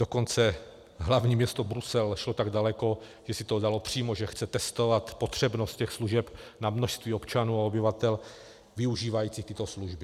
Dokonce hlavní město Brusel šlo tak daleko, že si to dalo přímo, že chce testovat potřebnost těch služeb na množství občanů a obyvatel využívajících tyto služby.